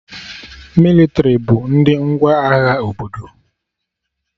Mịlịtrị bụ ndị ngwa agha obodo